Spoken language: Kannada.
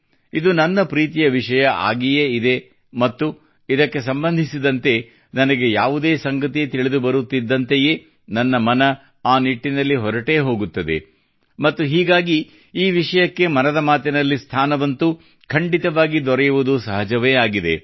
ಇದು ನನ್ನ ಪ್ರೀತಿಯ ವಿಷಯ ಆಗಿಯೇ ಇದೆ ಮತ್ತು ಇದಕ್ಕೆ ಸಂಬಂಧಿಸಿದಂತೆ ನನಗೆ ಯಾವುದೇ ಸಂಗತಿ ತಿಳಿದುಬರುತ್ತಿದ್ದಂತೆಯೇ ನನ್ನ ಮನ ಆ ನಿಟ್ಟಿನಲ್ಲಿ ಹೊರಟೇ ಹೋಗುತ್ತದೆ ಮತ್ತು ಹೀಗಾಗಿ ಈ ವಿಷಯಕ್ಕೆ ಮನದ ಮಾತಿನಲ್ಲಿ ಸ್ಥಾನವಂತೂ ಖಂಡಿತವಾಗಿಯೂ ದೊರೆಯುವುದು ಸಹಜವೇ ಆಗಿದೆ